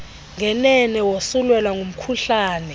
ngenene wosulelwa ngumkhuhlane